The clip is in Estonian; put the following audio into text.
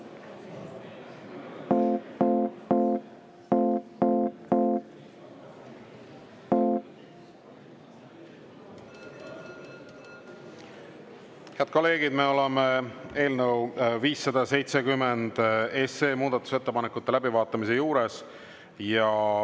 Head kolleegid, me oleme eelnõu 570 muudatusettepanekute läbivaatamise juures.